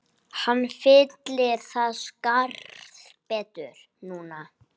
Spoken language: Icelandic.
Hann fyllir það skarð betur núna